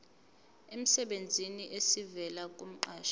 emsebenzini esivela kumqashi